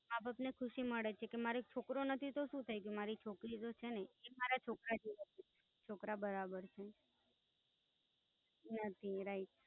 એ અપને ખુશી મને છે કે મારે એક છોકરો નથી તો સુ થઇ ગયું, મારી છોકરી તો છેને એ મારા છોકરા જેવી હતી. છોકરા બરાબર છે. હમ Right.